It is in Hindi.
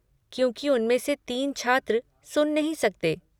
क्योंकि उनमें से तीन छात्र सुन नहीं सकते।